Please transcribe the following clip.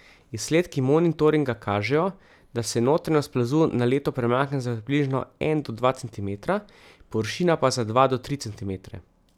Izsledki monitoringa kažejo, da se notranjost plazu na leto premakne za približno en do dva centimetra, površina pa za dva do tri centimetre.